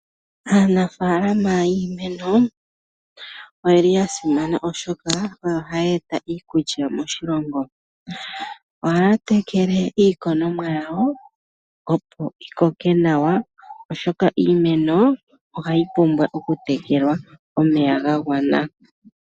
Aanafaalama yiimeno oya simana, oshoka oyo haya eta iikulya moshilongo. Ohaya tekele iikonomwa yawo opo yikoke nawa, oshoka Iimeno ohayi pumbwa oku tekelewa omeya ga gwana.